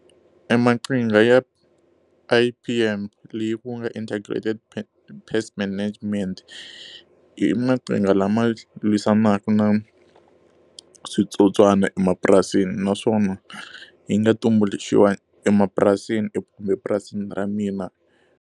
E maqhinga ya I_P_M Integrated Pest Management i maqhinga lama lwisanaka na switsotswana emapurasini. Naswona yi nga tumbuluxiwa emapurasini kumbe epurasini ra mina.